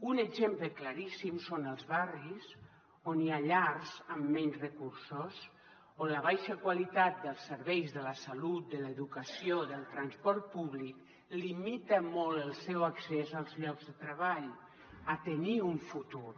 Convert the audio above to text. un exemple claríssim són els barris on hi ha llars amb menys recursos on la baixa qualitat dels serveis de la salut de l’educació del transport públic limita molt el seu accés als llocs de treball a tenir un futur